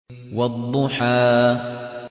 وَالضُّحَىٰ